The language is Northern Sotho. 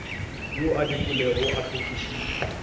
yo a dikilwego a hlokišitšwe